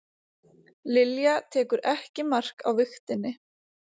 Lilja tekur ekki mark á vigtinni